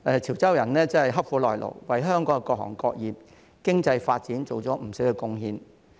潮州人刻苦耐勞，多年來為香港各行各業、經濟發展作出不少貢獻。